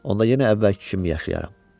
Onda yenə əvvəlki kimi yaşayaram.